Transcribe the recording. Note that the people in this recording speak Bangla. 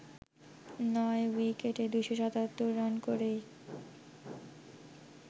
নয় উইকেটে ২৭৭ রান করেই